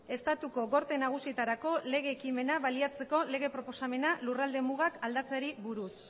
estatuko gorte nagusietarako lege ekimena baliatzeko lege proposamena lurralde mugak aldatzeari buruz